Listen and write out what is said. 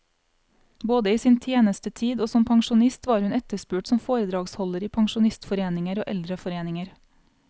Både i sin tjenestetid og som pensjonist var hun etterspurt som foredragsholder i pensjonistforeninger og eldreforeninger.